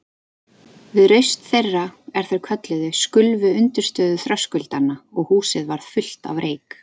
Við raust þeirra, er þeir kölluðu, skulfu undirstöður þröskuldanna og húsið varð fullt af reyk.